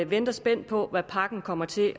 venter spændt på hvad pakken kommer til